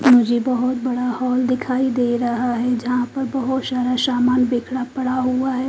मुझे बहोत बड़ा हॉल दिखाई दे रहा है जहां पर बहोत सारा सामान बिखड़ा पड़ा हुआ है।